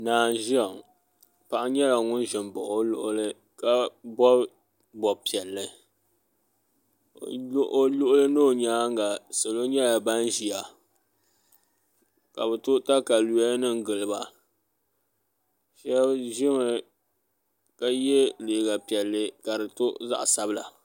naa n ʒia ŋɔ paɣa nyɛla ŋun ʒi m-baɣi o luɣili ka bɔbi bɔb' piɛlli o luɣa ni o nyaanga salo nyɛla ban ʒia ka bɛ to takayuyanima n gili ba shaba ʒimi ka ye liiga piɛla ka di to zaɣ' sabila